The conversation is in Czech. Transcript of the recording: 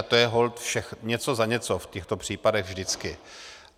A to je holt něco za něco v těchto případech vždycky.